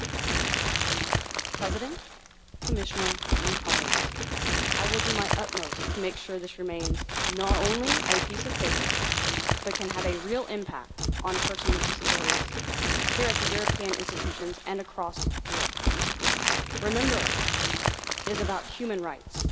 Madam President, I will do my utmost to make sure this remains not just a piece of paper, but can have a real impact on person with disabilities here at the European institutions and across Europe. Remember this is about human rights,